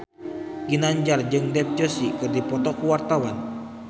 Ginanjar jeung Dev Joshi keur dipoto ku wartawan